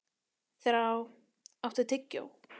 Þrá, áttu tyggjó?